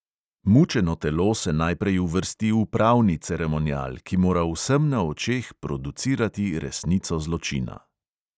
Mučeno telo se najprej uvrsti v pravni ceremonial, ki mora vsem na očeh producirati resnico zločina.